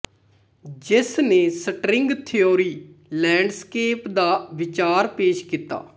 ਜਿਸਨੇ string theory landscape ਦਾ ਵਿਚਾਰ ਪੇਸ਼ ਕੀਤਾ